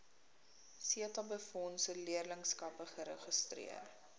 setabefondse leerlingskappe geregistreer